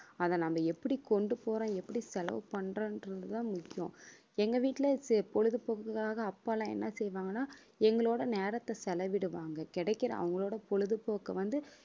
அதை நாம எப்படி கொண்டு போறோம் எப்படி செலவு பண்றோம்ன்றதுதான் முக்கியம் எங்க வீட்டுல சே~ பொழுதுபோக்குக்காக அப்பா எல்லாம் என்ன செய்வாங்கன்னா எங்களோட நேரத்தை செலவிடுவாங்க கிடைக்கிற அவங்களோட பொழுதுபோக்கு வந்து